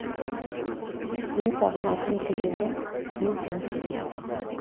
мен саған айтқым келгені мен сені сүйемін